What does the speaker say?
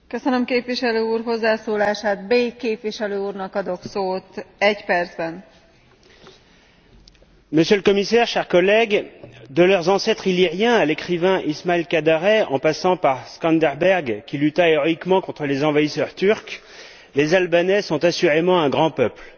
Madame la Présidente, Monsieur le Commissaire, chers collègues, de leurs ancêtres illyriens à l'écrivain Ismail Kadaré en passant par Skanderberg, qui lutta héroïquement contre les envahisseurs turcs, les Albanais sont assurément un grand peuple.